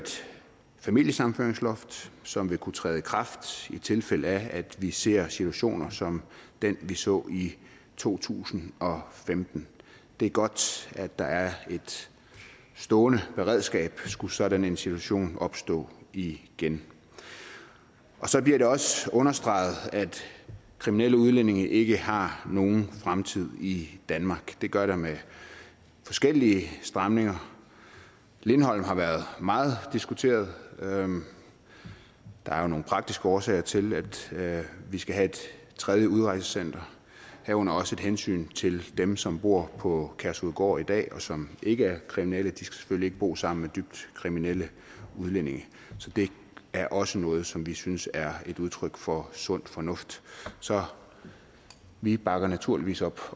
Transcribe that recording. familiesammenføringsloft som vil kunne træde i kraft i tilfælde af at vi ser situationer som den vi så i to tusind og femten det er godt at der er et stående beredskab skulle sådan en situation opstå igen så bliver det også understreget at kriminelle udlændinge ikke har nogen fremtid i danmark det gør der med forskellige stramninger lindholm har været meget diskuteret der er jo nogle praktiske årsager til til at vi skal have et tredje udrejsecenter herunder også et hensyn til dem som bor på kærshovedgård i dag og som ikke er kriminelle de skal selvfølgelig ikke bo sammen med dybt kriminelle udlændinge så det er også noget som vi synes er et udtryk for sund fornuft så vi bakker naturligvis op